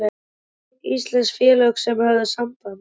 Hvað voru mörg íslensk félög sem höfðu samband?